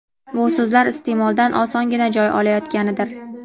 bu so‘zlar iste’moldan osongina joy olayotganidir.